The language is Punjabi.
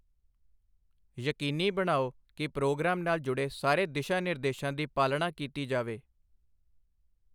ਯਕੀਨੀ ਬਣਾਓ ਕਿ ਪ੍ਰੋਗਰਾਮ ਨਾਲ ਜੁੜੇ ਸਾਰੇ ਦਿਸ਼ਾ ਨਿਰਦੇਸ਼ਾਂ ਦੀ ਪਾਲਣਾ ਕੀਤੀ ਜਾਵੇ।